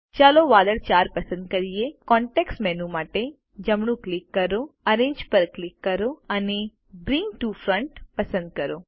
ચાલો વાદળ 4 પસંદ કરીએ કોન્ટેક્ષ મેનૂ માટે જમણું ક્લિક કરો એરેન્જ પર ક્લિક કરો અને બ્રિંગ ટીઓ ફ્રન્ટ પસંદ કરો